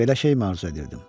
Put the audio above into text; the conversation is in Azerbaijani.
Belə şeymi arzu edirdim?